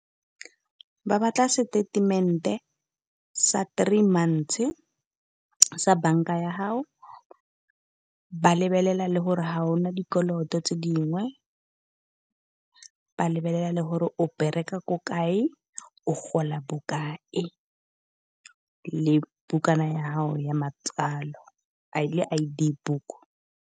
Ba batla seteitemente sa three months sa bank-a ya gago. Ba lebelela le gore ga ona dikoloto tse dingwe, ba lebelela le gore o bereka ko kae, o gola bokae le bukana yagago ya matswalo I_D book.